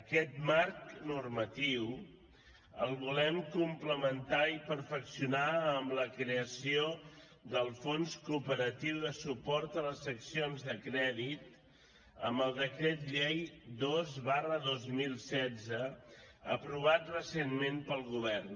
aquest marc normatiu el volem complementar i perfeccionar amb la creació del fons cooperatiu de suport a les seccions de crèdit amb el decret llei dos dos mil setze aprovat recentment pel govern